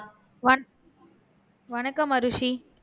வன் வணக்கம் அரூசி